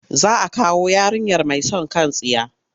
Za a kawo yarinyar mai son kan tsiya.